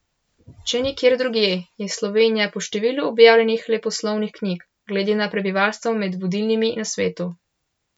Če nikjer drugje, je Slovenija po številu objavljenih leposlovnih knjig glede na prebivalstvo med vodilnimi na svetu.